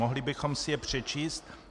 Mohli bychom si je přečíst?